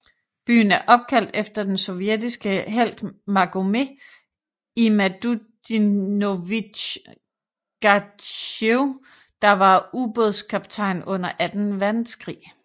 Byen er opkaldt efter den sovjetiske helt Magomet Imadutdinovich Gadzhiev der var ubådskaptajn under anden verdenskrig